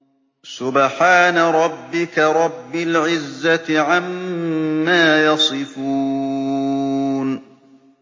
سُبْحَانَ رَبِّكَ رَبِّ الْعِزَّةِ عَمَّا يَصِفُونَ